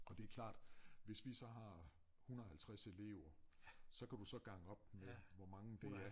Og det klart hvis vi så har 150 elever så kan du så gange op med hvor mange det er